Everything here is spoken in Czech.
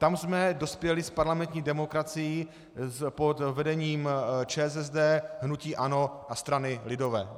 Tam jsme dospěli s parlamentní demokracií pod vedením ČSSD, hnutí ANO a strany lidové.